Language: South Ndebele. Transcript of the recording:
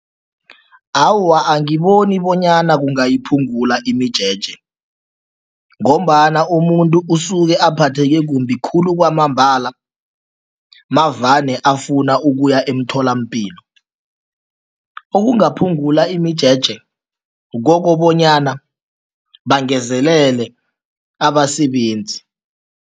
Awa, angiboni bonyana kungayiphungula imijeje ngombana umuntu usuke aphatheke kumbi khulu kwamambala mavane afuna ukuya emtholampilo. Okungaphungula imijeje kukobanyana bangezelele abasebenzi.